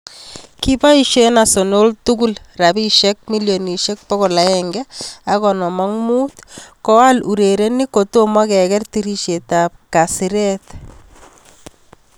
Kipoisie Arsenal tugul rabisiek milionisiek 155 koal urerenik kotomo keker tirishet ab kasiret.